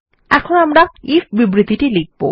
এখন আমি আমার আইএফ বিবৃতিটি লিখব